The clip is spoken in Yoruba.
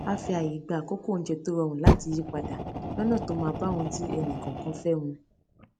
a fi ààyè gba àkókò oúnjẹ tó rọrùn láti yípadà lónà tó máa bá ohun tí ẹnìkòòkan fé mu